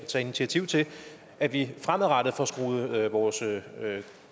tage initiativ til at vi fremadrettet får skruet vores